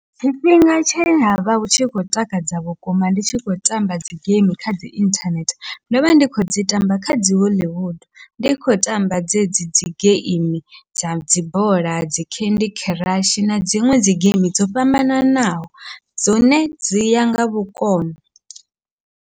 Tshifhinga tshe havha hu tshi khou takadza vhukuma ndi tshi khou tamba dzi geimi kha dzi inthanethe, ndovha ndi khou dzi tamba kha dzi Hollywood ndi kho tamba dzedzi dzi geimi dza dzi bola dzi candy crush na dziṅwe dzi geimi dzo fhambananaho, dzone dziya nga vhukono.